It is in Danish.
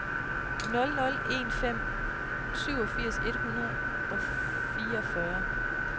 nul nul en fem syvogfirs et hundrede og fireogfyrre